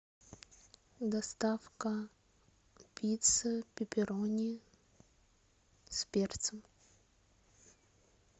доставка пиццы пепперони с перцем